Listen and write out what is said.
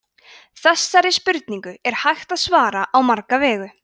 þessari spurningu er hægt að svara á marga vegu